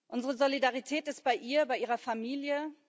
Unsere Solidarität ist bei ihr und bei ihrer Familie.